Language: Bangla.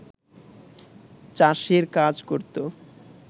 চাষের কাজ করত